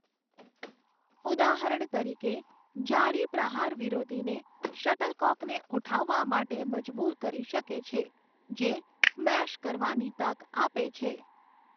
ઉદાહરણ તરીકે, જાળી પ્રહાર વિરોધીને શટલકોકને ઉઠાવવા માટે મજબૂર કરી શકે છે, જે સ્મેશ કરવાની તક આપે છે.